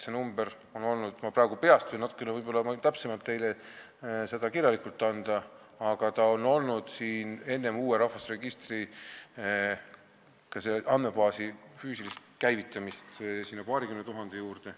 See number oli – ma ütlen praegu peast, kirjalikult võin ma teile täpsema arvu anda – enne uue rahvastikuregistri, ka selle andmebaasi füüsilist käivitamist paarikümne tuhande juures.